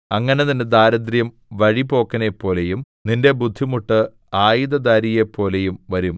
അങ്ങനെ നിന്റെ ദാരിദ്ര്യം വഴിപോക്കനെപ്പോലെയും നിന്റെ ബുദ്ധിമുട്ട് ആയുധധാരിയെപ്പോലെയും വരും